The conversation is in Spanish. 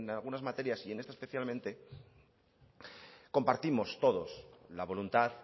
algunas materias y en esta especialmente compartimos todos la voluntad